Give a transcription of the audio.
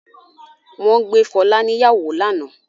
Wọ́n gbé Fọlá níyàwó lánàá?